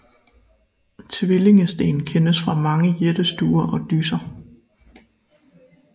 Tvillingesten kendes fra mange jættestuer og dysser